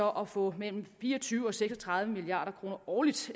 at få imellem fire og tyve og seks og tredive milliard kroner årligt